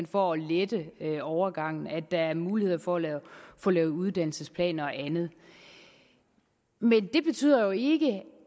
for at lette overgangen at der er muligheder for at få lavet uddannelsesplaner og andet men det betyder jo ikke